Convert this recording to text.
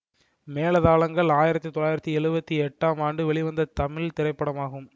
மேளதாளங்கள் ஆயிரத்தி தொள்ளாயிரத்தி எழுவத்தி எட்டாம் ஆண்டு வெளிவந்த தமிழ் திரைப்படமாகும்